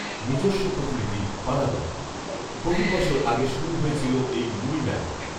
নিজস্ব প্রতিনিধি, পানাগড়ঃ বহু বছর আগে শুরু হয়েছিল এই মুড়ি মেলা